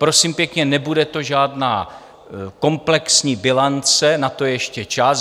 Prosím pěkně, nebude to žádná komplexní bilance, na to je ještě čas.